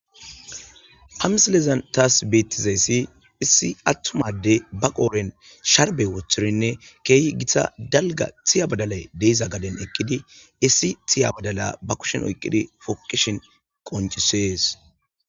amsilezan taas beettizayssi issi attumade ba qooren sharbe woththirinne keehi gita dalga tiya badalay deiza gaden ekkidi issi tiya badala ba kushin oyqqidi foqishin qoncisees